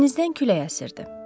Dənizdən külək əsirdi.